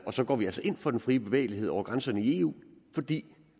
og så går vi altså ind for den frie bevægelighed over grænserne i eu fordi